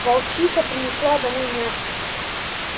волчиха принесла домой мясо